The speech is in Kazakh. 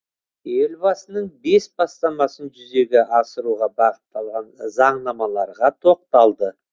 елбасының бес бастамасын жүзеге асыруға бағытталған заңнамаларға тоқталды